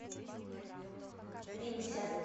линься